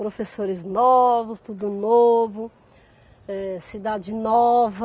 Professores novos, tudo novo, eh cidade nova.